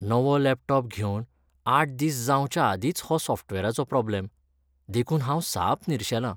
नवो लॅपटॉप घेवन आठ दिस जावंच्या आदींच हो सॉफ्टवेराचो प्रॉब्लेम, देखून हांव साप निरशेलां.